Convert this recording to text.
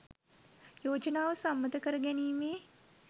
යෝජනාව සම්මත කරගැනීමේ